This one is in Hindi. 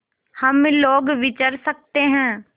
हम लोग विचर सकते हैं